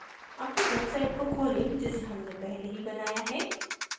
अपनी website को खोलें जिसे हमने पहले ही बनाया है